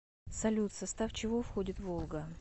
салют в состав чего входит волга